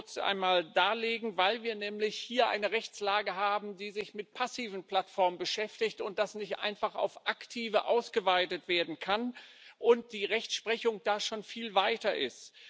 Das möchte ich kurz einmal darlegen Weil wir nämlich hier eine Rechtslage haben, die sich mit passiven Plattformen beschäftigt, das nicht einfach auf aktive ausgeweitet werden kann und die Rechtsprechung da schon viel weiter ist.